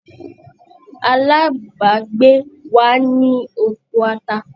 Alábàgbé wa ni oko ata.